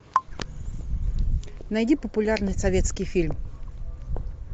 найди популярный советский фильм